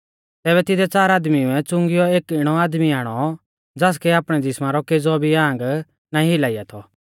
तैबै तिदै च़ार आदमीउऐ च़ुंगियौ एक इणौ आदमी आणौ ज़ासकै आपणै ज़िसमा रौ केज़ौ भी आंग नाईं हिलाइया थौ